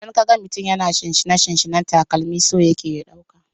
Idan ka ga mutum yana shinshina/sinsina takalami, so yake ya ɗauka.